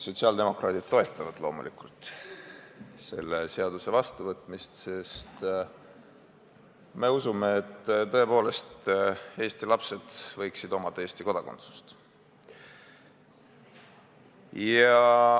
Sotsiaaldemokraadid toetavad loomulikult selle seaduse vastuvõtmist, sest me usume tõepoolest, et Eesti lapsed võiksid omada Eesti kodakondsust.